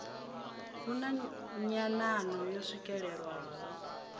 hu na nyanano yo swikelelwaho